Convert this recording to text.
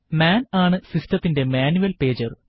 മാൻ ആണ് സിസ്റ്റത്തിന്റെ manual pager